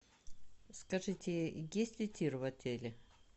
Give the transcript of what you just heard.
скажите есть ли тир в отеле